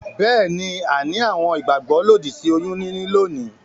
Beeni, a ni àwon ìgbàgbó òdì sí oyún níní lónìí